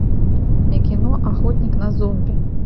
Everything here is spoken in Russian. кино охотник на зомби